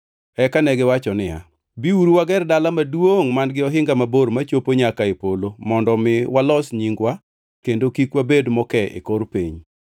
Eka negiwacho niya, “Biuru wager dala maduongʼ man-gi ohinga mabor machopo nyaka e polo mondo omi walos nyingwa kendo kik wabed moke e kor piny.”